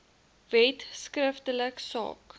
wet skriftelik saak